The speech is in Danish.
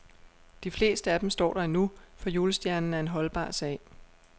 De fleste af dem står der endnu, for julestjernen er en holdbar sag.